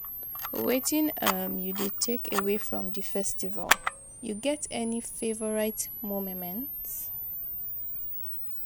Wetin um you dey take away from di festival, you get any favorite momements?